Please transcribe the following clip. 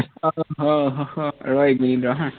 আহ হম হম হম ৰ এক মিনিট ৰ হা